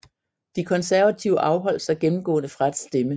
De konservative afholdt sig gennemgående fra at stemme